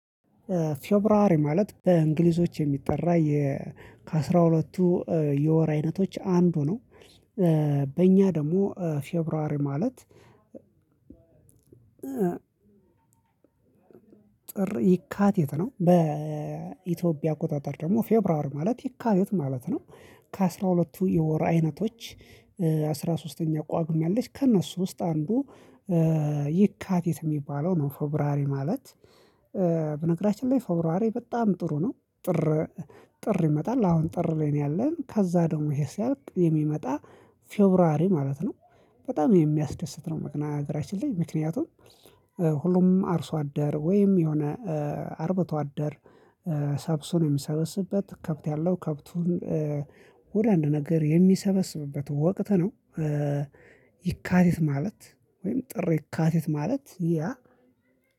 ፌብሩዋሪ ማለት በእንግሊዞች የሚጠራ የ ከአስራ ሁለቱ እ የወር አይነቶች አንዱ ነው እ በእኛ ደግሞ ፌብሩዋሪ ማለት። ጥር የካቲት ነው በኢትዮጵያ አቆጣጠር ደግሞ ፌብራሪ ማለት የካቲት ማለት ነው። ከአስራ ሁለቱ የወር አይነቶች እ አስራ ሶስተኛው ቋግሜ አለች ከእነሱ ውስጥ አንዱ እ የካቲት የሚባለው ነው ፎብራሪ ማለት። በነገራችን ላይ ፎብራሪ በጣም ጥሩ ነው። ጥር ጥር ይመጣል አሁን ጥር ላይ ነው ያለን ከዛ ደግሞ ይሄ ሲያልቅ የሚመጣ ፌብሩዋሪ ማለት ነው። በጣም የሚያስደስት ነው መቅና አገራችን ላይ ምክንያቱም ሁሉም አርሶ አደር ወይም የሆነ እ አርበቶ አደር እ ሰብሱን የሚሰበስበት ከብት ያለው ከብቱን እ ወደ አንድ ነገር የሚሰበስብበት ወቅት ነው። እ የካቲት ማለት ወይም ጥር የካቲት ማለት ያ